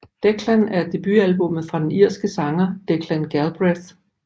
Declan er debutalbummet fra den irske sanger Declan Galbraith